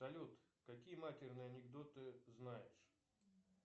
салют какие матерные анекдоты знаешь